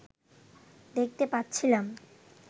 দেখতে পাচ্ছিলাম